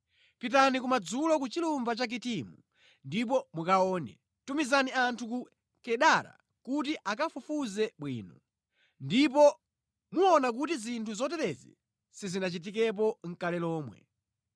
Pitani kumadzulo ku chilumba cha Kitimu, ndipo mukaone, tumizani anthu ku Kedara kuti akafufuze bwino; ndipo muona kuti zinthu zoterezi sizinachitikepo nʼkale lomwe: